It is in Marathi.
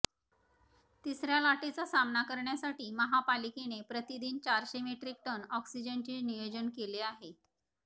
तिसऱ्या लाटेचा सामना करण्यासाठी महापालिकेने प्रतिदिन चारशे मेट्रिक टन ऑक्सिजनचे नियोजन केले आहे